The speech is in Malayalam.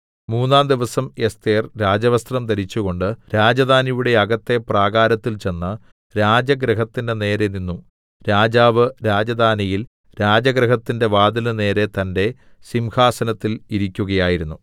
മൂന്നാംദിവസം എസ്ഥേർ രാജവസ്ത്രം ധരിച്ചുകൊണ്ട് രാജധാനിയുടെ അകത്തെ പ്രാകാരത്തിൽ ചെന്ന് രാജഗൃഹത്തിന്റെ നേരെ നിന്നു രാജാവ് രാജധാനിയിൽ രാജഗൃഹത്തിന്റെ വാതിലിന് നേരെ തന്റെ സിംഹാസനത്തിൽ ഇരിക്കുകയായിരുന്നു